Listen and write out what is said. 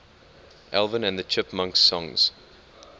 alvin and the chipmunks songs